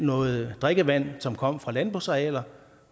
noget drikkevand som kom fra landbrugsarealer